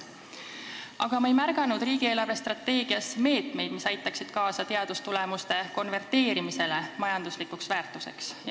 Aga ma ei märganud riigi eelarvestrateegias meetmeid, mis aitaksid kaasa teadustulemuste konverteerimisele majanduslikuks väärtuseks.